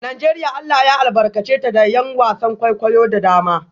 Najeriya Allah ya albarkace ta da ’yan wasan kwaikwayo da dama